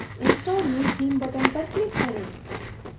install new theme button पर click करें